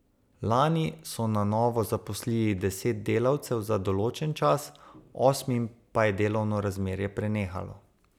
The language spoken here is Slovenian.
Lani so na novo zaposlili deset delavcev za določen čas, osmim pa je delovno razmerje prenehalo.